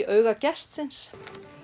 auga gestsins